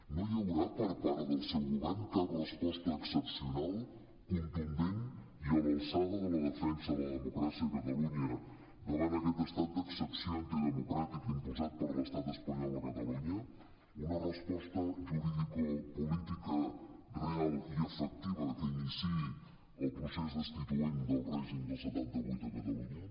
no hi haurà per part del seu govern cap resposta excepcional contundent i a l’alçada de la defensa de la democràcia a catalunya davant aquest estat d’excepció antidemocràtic imposat per l’estat espanyol a catalunya una resposta juridicopolítica real i efectiva que iniciï el procés destituent del règim del setanta vuit a catalunya